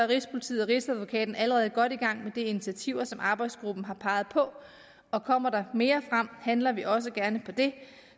rigspolitiet og rigsadvokaten allerede godt i gang med de initiativer som arbejdsgruppen har peget på og kommer der mere frem handler vi også gerne på det